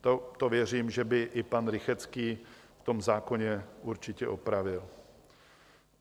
To věřím, že by i pan Rychetský v tom zákoně určitě opravil.